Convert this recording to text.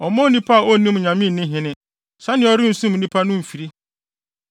ɔmma onipa a onnim Nyame nni hene, sɛnea ɔrensum nnipa no mfiri.